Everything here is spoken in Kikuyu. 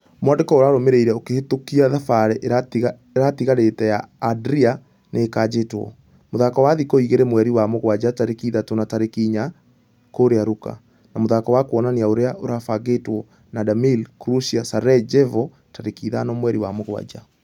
Mwandĩko ũrarũmĩreire ũkĩhĩtũkia thabarĩ ĩratigarĩte ya adria nĩ ĩkanjĩtwo , mũthako wa thikũ igĩrĩ mweri wa mũgwaja tarĩki ithatũ na tarĩki inya kũrĩa luka. Na mũthako wa kuonania ũrĩa ũrabangĩtwo na damir kũrĩa sarajevo tarĩki ithano mweri wa mũgwaja .